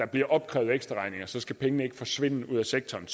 bliver opkrævet ekstraregninger så skal pengene ikke forsvinde ud af sektoren